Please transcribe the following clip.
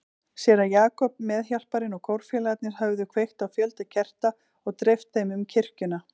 Séra Jakob, meðhjálparinn og kórfélagarnir höfðu kveikt á fjölda kerta og dreift þeim um kirkjuna.